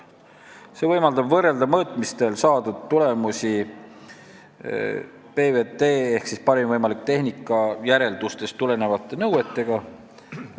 See võimaldab võrrelda mõõtmistel saadud tulemusi PVT-järeldustest tulenevate nõuetega.